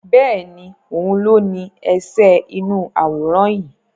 Bẹ́ẹ̀ni, òun ló ní ẹsẹ̀ inú àwòrán yìí